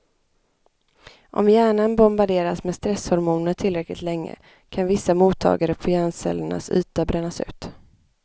Om hjärnan bombarderas med stresshormoner tillräckligt länge kan vissa mottagare på hjärncellernas yta brännas ut.